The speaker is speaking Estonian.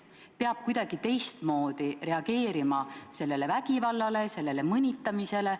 Peab kuidagi teistmoodi reageerima sellele vägivallale, sellele mõnitamisele.